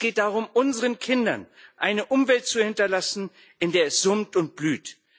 Es geht darum, unseren Kindern eine Umwelt zu hinterlassen, in der es summt und blüht.